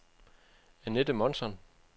Anette Månsson